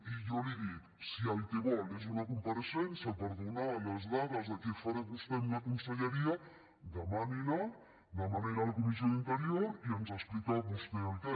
i jo li dic si el que vol és una compareixença per donar les dades de què farà vostè amb la conselleria demani la demani la a la comissió d’interior i ens explica vostè el què